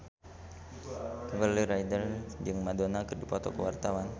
Kimberly Ryder jeung Madonna keur dipoto ku wartawan